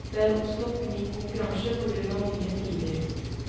Det er oppstått ny konkurranse på grunn av nye tider.